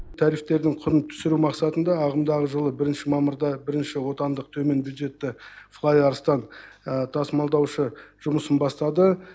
тарифтердің құнын түсіру мақсатында ағымдағы жылы бірінші мамырда бірінші отандық төмен бюджетті флай арыстан тасымалдаушы жұмысын бастады